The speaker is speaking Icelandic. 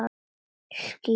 Ég skýt!